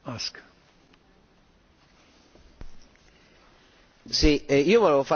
Io volevo fare una domanda a chi è intervenuto un attimo fa.